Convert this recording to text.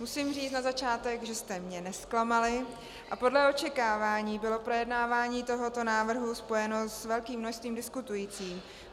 Musím říct na začátek, že jste mě nezklamali a podle očekávání bylo projednávání tohoto návrhu spojeno s velkým množstvím diskutujících.